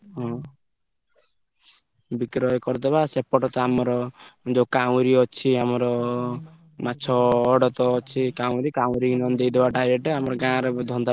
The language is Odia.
ହଁ। ବିକ୍ରୟ କରିଦବା ସେପଟତ ଆମର ଯୋଉଁ କାଉଁରୀ ଅଛି ଆମର ମାଛ ଅଡ ତ ଅଛି କାଉଁରୀ। କାଉଁରୀ ନହେଲେ ଦେଇଦବା direct ଆମର ଗାଁରେ ଧନ୍ଦା